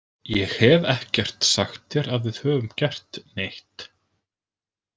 Ég hef ekkert sagt þér að við höfum gert neitt.